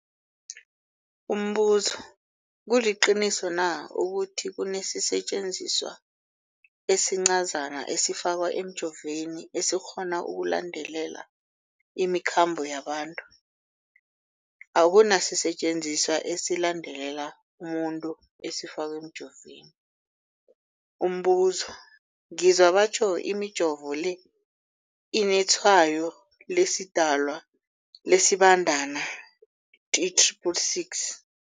Umbuzo, kuliqiniso na ukuthi kunesisetjenziswa esincazana esifakwa emijovweni, esikghona ukulandelela imikhambo yabantu? Akuna sisetjenziswa esilandelela umuntu esifakwe emijoveni. Umbuzo, ngizwa batjho imijovo le inetshayo lesiDalwa, lesiBandana 666.